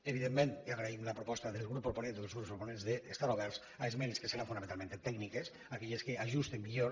evidentment agraïm la proposta del grup proponent o dels grups proponents d’estar oberts a esmenes que seran fonamentalment tècniques aquelles que ajusten millor